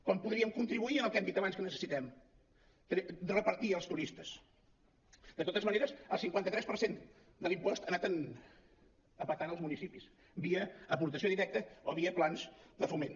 com podríem contribuir al que hem dit abans que necessitem repartir els turistes de totes maneres el cinquanta tres per cent de l’impost ha anat a petar en els municipis via aportació directa o via plans de foment